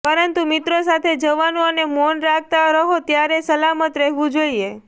પરંતુ મિત્રો સાથે જવાનું અને મૌન રાખતા રહો ત્યારે સલામત રહેવું જોઈએ